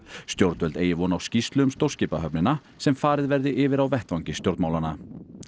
stjórnvöld eigi von á skýrslu um stórskipahöfnina sem farið verði yfir á vettvangi stjórnmálanna